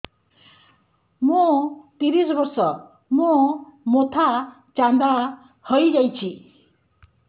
ମୋ ତିରିଶ ବର୍ଷ ମୋ ମୋଥା ଚାନ୍ଦା ହଇଯାଇଛି